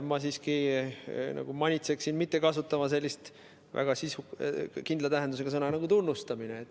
Ma siiski manitseksin mitte kasutama sellist väga kindla tähendusega sõna nagu "tunnustamine".